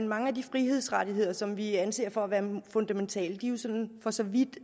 mange af de frihedsrettigheder som vi anser for at være fundamentale sådan for så vidt